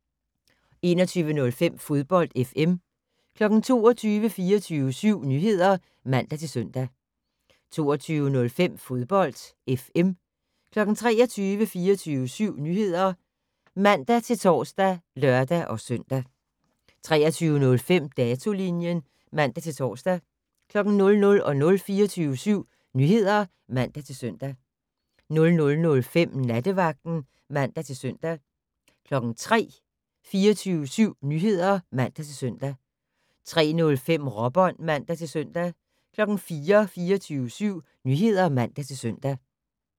21:05: Fodbold FM 22:00: 24syv Nyheder (man-søn) 22:05: Fodbold FM 23:00: 24syv Nyheder (man-tor og lør-søn) 23:05: Datolinjen (man-tor) 00:00: 24syv Nyheder (man-søn) 00:05: Nattevagten (man-søn) 03:00: 24syv Nyheder (man-søn) 03:05: Råbånd (man-søn) 04:00: 24syv Nyheder (man-søn)